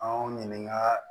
Anw ɲininka